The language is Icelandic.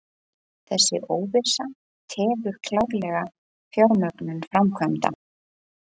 Þessi óvissa tefur klárlega fjármögnun framkvæmda